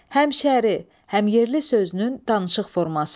Həmşəri, həmyerli sözünün danışıq forması.